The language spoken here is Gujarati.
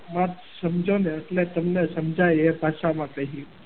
વાત સમજો ને એટલે તમને સમજાય એ ભાષામાં તમને કહીએ.